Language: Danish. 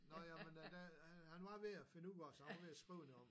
Nå jamen ja det han var ved at finde ud af så han var ved at skrive noget om